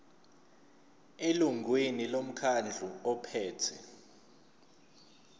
elungwini lomkhandlu ophethe